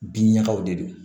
Bin ɲagaw de don